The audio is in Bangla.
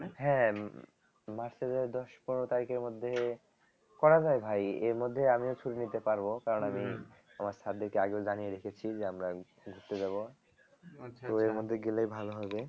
হ্যাঁ আহ উম march এর দশ পনেরো তারিখের মধ্যে করা যায় ভাই এর মধ্যে আমিও ছুটি নিতে পারব কারণ আমি আমার sir দেরকে আগেও জানি রেখেছি যে আমরা ওই ঘুরতে যাব তো এর মধ্যে গেলেই ভালো হবে